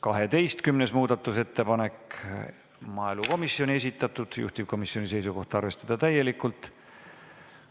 12. muudatusettepanek, maaelukomisjoni esitatud, juhtivkomisjoni seisukoht: arvestada täielikult.